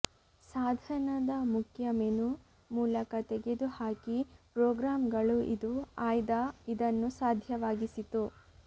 ಸಾಧನದ ಮುಖ್ಯ ಮೆನು ಮೂಲಕ ತೆಗೆದುಹಾಕಿ ಪ್ರೋಗ್ರಾಂಗಳು ಇದು ಆಯ್ದ ಇದನ್ನು ಸಾಧ್ಯವಾಗಿಸಿತು